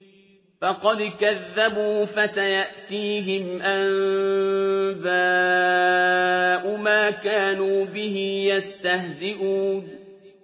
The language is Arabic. فَقَدْ كَذَّبُوا فَسَيَأْتِيهِمْ أَنبَاءُ مَا كَانُوا بِهِ يَسْتَهْزِئُونَ